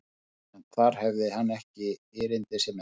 En þar hafði hann ekki erindi sem erfiði.